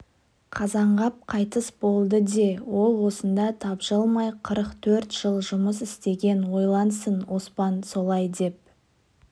қазанғап қайтыс болды де ол осында тапжылмай қырық төрт жыл жұмыс істеген ойлансын оспан солай деп